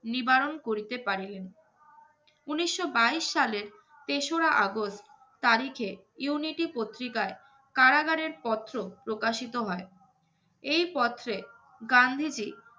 নিবারণ করিতে পারিলেন। উনিশশো বাইশ সালের তেসরা আগস্ট তারিখে ইউনিটি পত্রিকায়, কারাগারের পত্র প্রকাশিত হয়। এই পত্রে গান্ধীজী